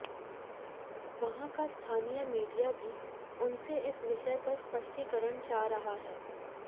वहां का स्थानीय मीडिया भी उनसे इस विषय पर स्पष्टीकरण चाह रहा है